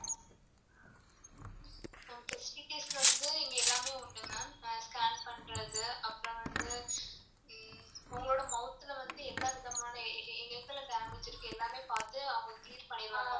Ma'am facilities வந்து இங்க எல்லாமே உண்டு ma'am scan பண்றது அப்புறம் வந்து உங்களோட mouth ல வந்து என்ன விதமான எங்கலாம் damage இருக்கு எல்லாமே பாத்து அவங்க clear பன்னிர்வாங்க ma'am.